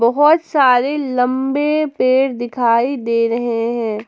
बहुत सारे लंबे पेड़ दिखाई दे रहे हैं।